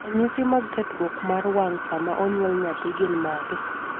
ranyisi mag kethruok mar wang' sama onyuol nyathi gin mage?